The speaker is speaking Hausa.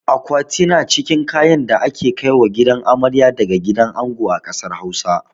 Akwati na cikin kayan da ake kaiwa gidan amarya daga gidan ango a ƙasar Hausa.